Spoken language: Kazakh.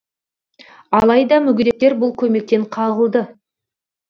алайда мүгедектер бұл көмектен қағылды